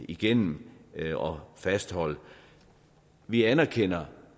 igennem og fastholde vi anerkender